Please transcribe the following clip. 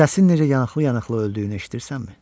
Səsi necə yanıqlı-yanıqlı öldüyünü eşidirsənmi?